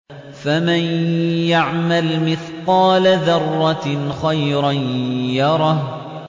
فَمَن يَعْمَلْ مِثْقَالَ ذَرَّةٍ خَيْرًا يَرَهُ